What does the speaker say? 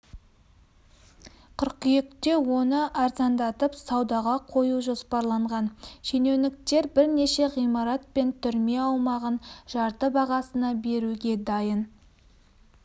қыркүйекте оны арзандатып саудаға қою жоспарланған шенеуніктер бірнеше ғимарат пен түрме аумағын жарты бағасына беруге дайын